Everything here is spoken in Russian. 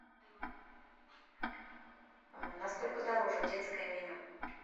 на сколько дороже детское меню